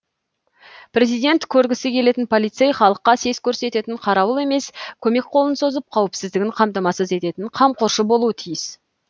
президент көргісі келетін полицей халыққа сес көрсететін қарауыл емес көмек қолын созып қауіпсіздігін қамтамасыз ететін қамқоршы болуы тиіс